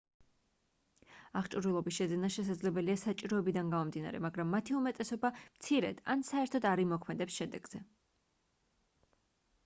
აღჭურვილობის შეძენა შესაძლებელია საჭიროებიდან გამომდინარე მაგრამ მათი უმეტესობა მცირედ ან საერთოდ არ იმოქმედებს შედეგზე